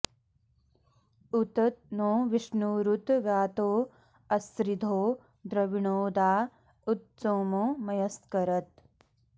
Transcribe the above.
उत नो विष्णुरुत वातो अस्रिधो द्रविणोदा उत सोमो मयस्करत्